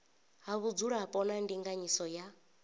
ha vhudzulapo na ndinganyiso ya